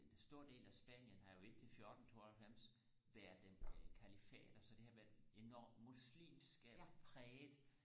en stor del af Spanien har jo indtil 1492 været den califate så det har været enormt muslimsk præget